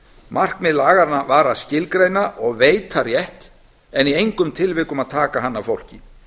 markmið laganna var að skilgreina og veita rétt en í engum tilvikum að taka hann af fólki